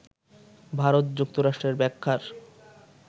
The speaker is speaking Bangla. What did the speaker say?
ভারত যুক্তরাষ্ট্রের ব্যাখ্যার